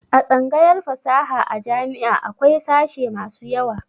A tsangayar fasaha a jami'a akwai sashe masu yawa.